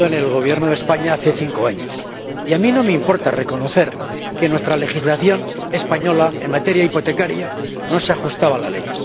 Señora Presidenta, yo estuve en el Gobierno de España hace cinco años y a mí no me importa reconocer que nuestra legislación española en materia hipotecaria no se ajustaba a la ley.